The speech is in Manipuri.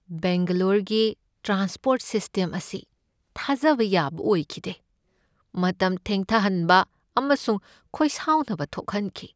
ꯕꯦꯡꯒ꯭ꯂꯣꯔꯒꯤ ꯇ꯭ꯔꯥꯟꯁ꯭ꯄꯣꯔꯠ ꯁꯤꯁ꯭ꯇꯦꯝ ꯑꯁꯤ ꯊꯥꯖꯕ ꯌꯥꯕ ꯑꯣꯏꯈꯤꯗꯦ, ꯃꯇꯝ ꯊꯦꯡꯊꯍꯟꯕ ꯑꯃꯁꯨꯡ ꯈꯣꯏꯁꯥꯎꯅꯕ ꯊꯣꯛꯍꯟꯈꯤ ꯫